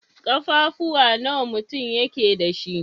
Ƙafafuwa nawa mutum yake dash?